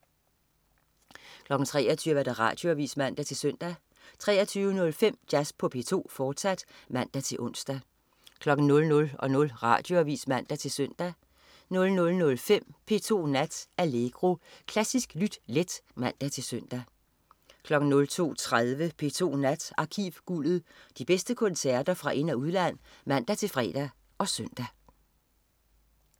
23.00 Radioavis (man-søn) 23.05 Jazz på P2, fortsat (man-ons) 00.00 Radioavis (man-søn) 00.05 P2 Nat. Allegro. Klassisk lyt let (man-søn) 02.30 P2 Nat. Arkivguldet. De bedste koncerter fra ind- og udland (man-fre og søn)